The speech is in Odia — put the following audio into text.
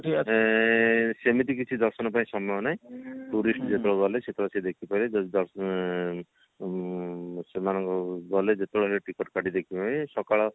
ଏଁ ସେମିତି କିଛି ଦର୍ଶନ ପାଇଁ ସମୟ ନାହିଁ tourist ଯେତେବେଳେ ଗଲେ ସେତେବେଳେ ସିଏ ଦେଖି ପାରିବେ ଯଦି ଦର୍ଶନ ଆଁ ଆଁ ଦର୍ଶନ ଗଲେ ଯେତେବେଳେ ସେ ଟିକଟ କାଟି ଦେଖିବେ ସକାଳ